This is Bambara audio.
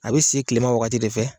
A be se tilema wagati de fɛ